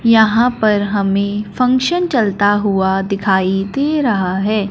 यहां पर हमें फंक्शन चलता हुआ दिखाई दे रहा है।